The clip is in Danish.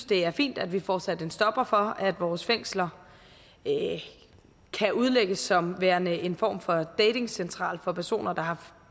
det er fint at vi får sat en stopper for at vores fængsler kan udlægges som værende en form datingcentraler for personer der har